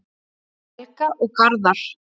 Helga og Garðar.